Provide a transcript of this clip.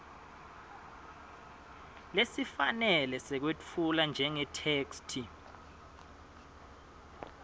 lesifanele sekwetfula njengetheksthi